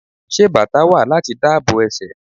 Ṣé bàtá wà láti dáàbò ẹsẹ̀?